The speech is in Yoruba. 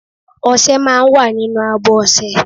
Oṣé máa ń wà nínú àbọ̀ ọ̀sẹ̀